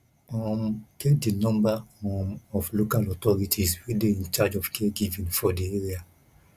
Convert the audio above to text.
um get di number um of local authorities wey dey in charge of caregivign for di area